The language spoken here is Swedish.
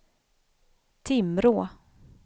Timrå